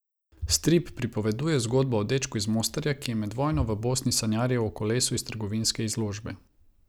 Strip pripoveduje zgodbo o dečku iz Mostarja, ki je med vojno v Bosni sanjaril o kolesu iz trgovinske izložbe.